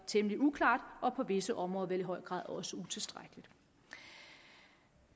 temmelig uklart og på visse områder vel i høj grad også utilstrækkeligt